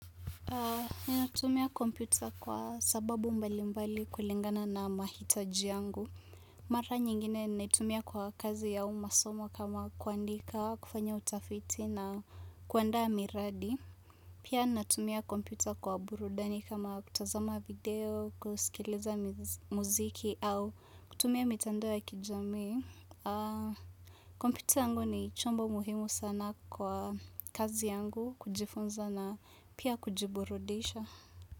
Ni natumia kompyuta kwa sababu mbali mbali kulingana na mahitaji yangu. Mara nyingine ninaitumia kwa kazi au masomo kama kuandika, kufanya utafiti na kuandaa miradi. Pia natumia kompyuta kwa burudani kama kutazama video, kusikiliza muziki au kutumia mitandao ya kijami. Kompyuta yangu ni chombo muhimu sana kwa kazi yangu kujifunza na pia kujiburudisha.